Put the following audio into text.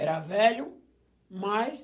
Era velho, mais...